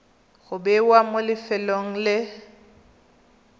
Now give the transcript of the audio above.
go bewa mo lefelong le